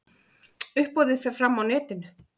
Uppboðið fer fram á netinu.